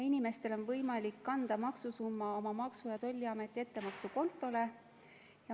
Inimestel on võimalik kanda maksusumma oma Maksu- ja Tolliameti ettemaksukontole.